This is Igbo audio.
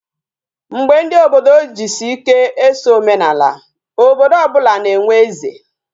Mgbe ndi obodo jisi ike eso omenala, obodo obula na enwe eze